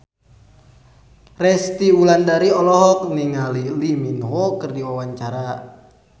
Resty Wulandari olohok ningali Lee Min Ho keur diwawancara